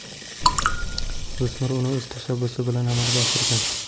O‘smir uni o‘z tashabbusi bilan amalga oshirgan.